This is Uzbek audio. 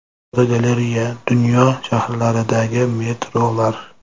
Fotogalereya: Dunyo shaharlaridagi metrolar.